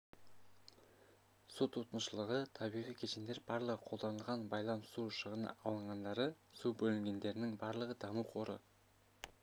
су тұтынушылығы табиғи кешендер барлығы қолданылған байлам су шығыны алынғандары су бөлінгендерінің барлығы даму қоры